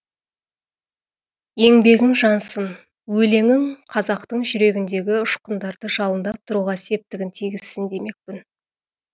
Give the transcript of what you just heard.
еңбегің жансын өлеңің қазақтың жүрегіндегі ұшқындарды жалындап тұруға септігін тигізсін демекпін